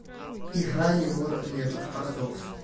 играй егор летов парадокс